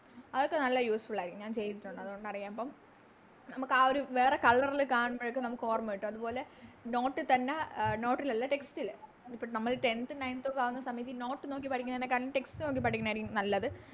അതൊക്കെ നല്ല Useful ആരിക്കും ഞാൻ ചെയ്തിട്ടൊണ്ട് അതുകൊണ്ടറിയാം അപ്പോം നമുക്കാ ഒരു വേറെ Colour ൽ കാണുമ്പോ നമുക്കോർമ്മ കിട്ടും അതുപോലെ Note ൽ തന്നെ അഹ് Note അല്ല Text ല് ഇപ്പൊ നമ്മളീ Tenth ഉം Nineth ഉം ആവുന്ന സമയത്ത് ഈ Note നോക്കി പഠിക്കുന്നേനെകാട്ടിലും Text നോക്കി പഠിക്കുണ ആയിരിക്കും നല്ലത്